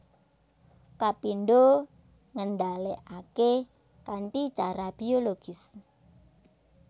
Kapindho ngendhalèkaké kanthi cara bologis